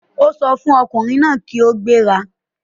Ó sọ fún ọkùnrin náà kí ó gbéra.